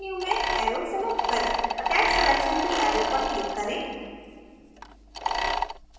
submenu में arrow select करेंattach selection to arrow पर क्लिक करें